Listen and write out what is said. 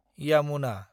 Yamuna